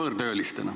Aitäh!